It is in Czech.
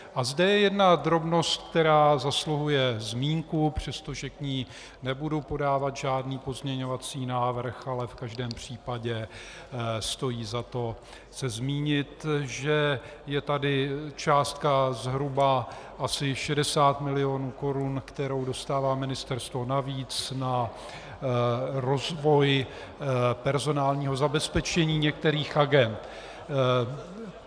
A zde je jedna drobnost, která zasluhuje zmínku, přestože k ní nebudu podávat žádný pozměňovací návrh, ale v každém případě stojí za to se zmínit, že je tady částka zhruba asi 60 milionů korun, kterou dostává ministerstvo navíc na rozvoj personálního zabezpečení některých agend.